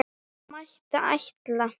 Það mætti ætla.